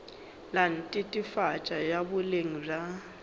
la netefatšo ya boleng bja